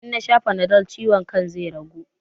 In nasha fanadol ciwon kan zai ragu?